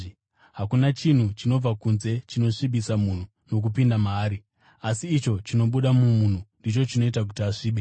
Hakuna chinhu chinobva kunze ‘chinosvibisa’ munhu nokupinda maari. Asi icho chinobuda mumunhu ndicho chinoita kuti ‘asvibe.’